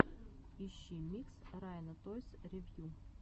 ищи микс райана тойс ревью